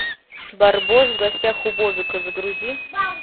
барбос в гостях у бобика загрузи